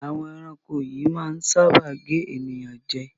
Àwọn ẹranko yíì máa ń sáábà gé ènìyàn jẹ